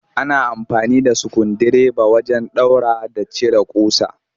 Ana amfani da sukundireba wajen ɗaura da cire ƙusa